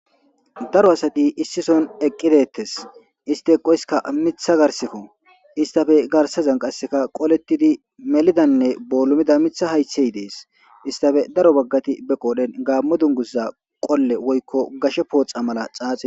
Daro asati issison eqqidettes isti eqoyiska mitha garsekko istafe garsazan qasseka qolettidi melidanne boolumida mitha hayhey dees istafe daro baggati be qoodhen gaammo dungussa qolle woykko gashe pooxa mala xaaxi.